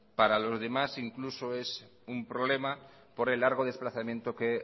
para los demás incluso es un problema por el largo desplazamiento que